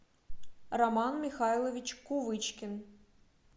роман михайлович кувычкин